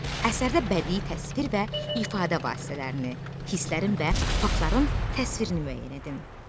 Əsərdə bədi təsvir və ifadə vasitələrini, hisslərin və faktların təsvirini müəyyən edin.